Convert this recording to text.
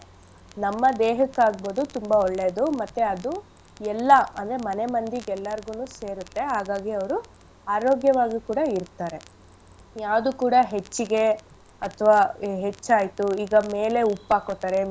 ನಮ್ಮ ದೇಹಕ್ ಆಗ್ಬೋದು ತುಂಬಾ ಒಳ್ಳೇದು ಮತ್ತೆ ಅದು ಎಲ್ಲಾ ಅಂದ್ರೆ ಮನೆ ಮಂದಿಗೆಲ್ಲಾರ್ಗೂನು ಸೇರತ್ತೆ ಹಾಗಾಗಿ ಅವ್ರು ಆರೋಗ್ಯವಾಗಿ ಕೂಡ ಇರ್ತಾರೆ. ಯಾವ್ದು ಕೂಡ ಹೆಚ್ಚಿಗೆ ಅಥ್ವ ಹೆಚ್ಚಾಯ್ತು ಈಗ ಮೇಲೆ ಉಪ್ಪ್ ಹಾಕೋತಾರೆ.